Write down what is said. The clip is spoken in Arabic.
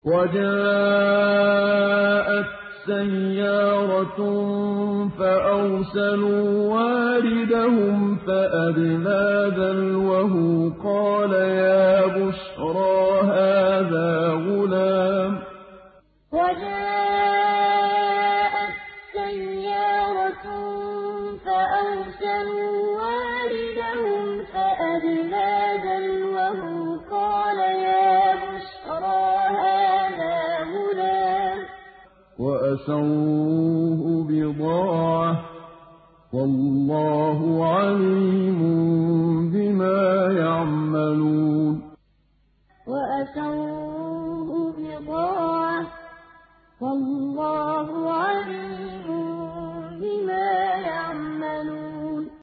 وَجَاءَتْ سَيَّارَةٌ فَأَرْسَلُوا وَارِدَهُمْ فَأَدْلَىٰ دَلْوَهُ ۖ قَالَ يَا بُشْرَىٰ هَٰذَا غُلَامٌ ۚ وَأَسَرُّوهُ بِضَاعَةً ۚ وَاللَّهُ عَلِيمٌ بِمَا يَعْمَلُونَ وَجَاءَتْ سَيَّارَةٌ فَأَرْسَلُوا وَارِدَهُمْ فَأَدْلَىٰ دَلْوَهُ ۖ قَالَ يَا بُشْرَىٰ هَٰذَا غُلَامٌ ۚ وَأَسَرُّوهُ بِضَاعَةً ۚ وَاللَّهُ عَلِيمٌ بِمَا يَعْمَلُونَ